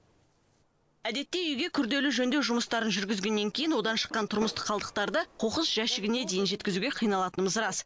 әдетте үйге күрделі жөндеу жұмыстарын жүргізгеннен кейін одан шыққан тұрмыстық қалдықтарды қоқыс жәшігіне дейін жеткізуге қиналатынымыз рас